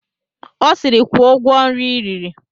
Ọ sịịrị, kwụọ ụgwọ nri i riri!